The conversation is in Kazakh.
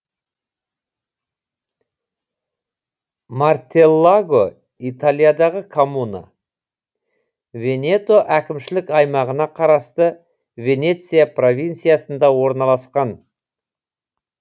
мартеллаго италиядағы коммуна венето әкімшілік аймағына қарасты венеция провинциясында орналасқан